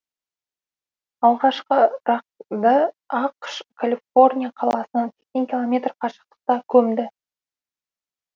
алғашқы рақ ды ақш калифорния қаласынан сексен километр қашықтықта көмді